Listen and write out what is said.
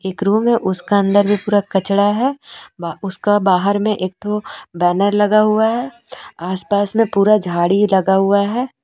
एक रूम में उसका अंदर भी पूरा कचड़ा है उसका बाहर में एक ठो बैनर लगा हुआ है आसपास में पूरा झाड़ी लगा हुआ है।